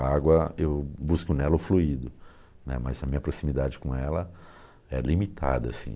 A água, eu busco nela o fluido né, mas a minha proximidade com ela é limitada, assim.